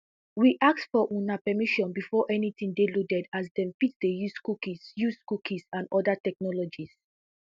we ask for una permission before anytin dey loaded as dem fit dey use cookies use cookies and oda technologies